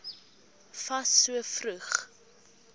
fas so vroeg